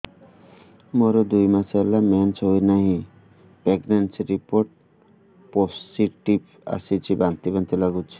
ମୋର ଦୁଇ ମାସ ହେଲା ମେନ୍ସେସ ହୋଇନାହିଁ ପ୍ରେଗନେନସି ରିପୋର୍ଟ ପୋସିଟିଭ ଆସିଛି ବାନ୍ତି ବାନ୍ତି ଲଗୁଛି